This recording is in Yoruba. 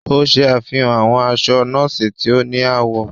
O ṣe àfihàn awọn aṣọ nọọsi tí o ni awọ.